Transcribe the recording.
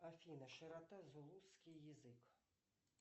афина широта зулусский язык